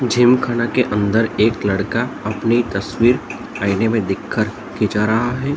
जिमखाना के अंदर एक लड़का अपनी तस्वीर आईने में देख कर के जा रहा है ।